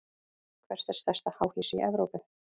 Hvert er stærsta háhýsi í Evrópu?